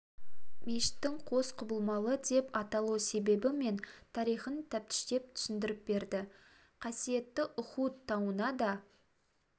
мешіттің қос құбылалы деп аталу себебі мен тарихын тәптіштеп түсіндіріп берді қасиетті ұхуд тауына да